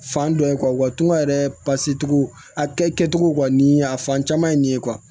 Fan dɔ in walima yɛrɛ paseke cogo a kɛcogo wa ni a fan caman ye nin ye